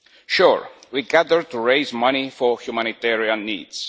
Sure, we gather to raise money for humanitarian needs